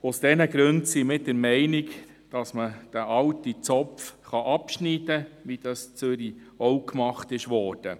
Aus diesen Gründen sind wir der Meinung, dass man diesen alten Zopf abschneiden kann, wie das in Zürich auch gemacht wurde.